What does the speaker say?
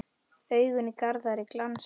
Augun í Garðari glansa.